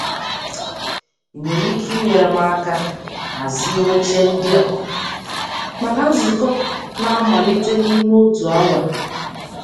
Ị Ị nwere ike inyere m aka hazie oche ndị a maka nzukọ na-amalite n'ime otu awa.